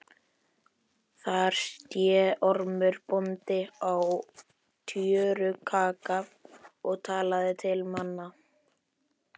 Þar sté Ormur bóndi á tjörukagga og talaði til mannanna.